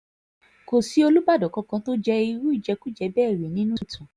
kò sí olùbàdàn kankan tó jẹ́ irú ìjẹkújẹ bẹ́ẹ̀ rí nínú ìtàn